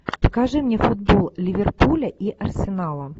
покажи мне футбол ливерпуля и арсенала